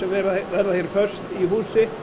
verða hér föst í húsi